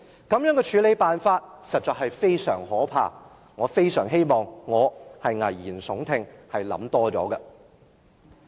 這樣的處理方式實在非常可怕。我非常希望我在危言聳聽，想得太多。